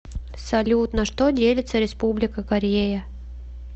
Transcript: салют на что делится республика корея